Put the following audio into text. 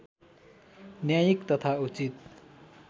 न्यायिक तथा उचित